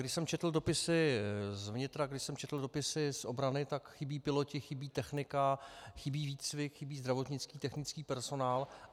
Když jsem četl dopisy z vnitra, když jsem četl dopisy z obrany, tak chybějí piloti, chybí technika, chybí výcvik, chybí zdravotnický technický personál.